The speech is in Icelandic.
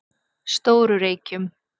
Stóru Reykjum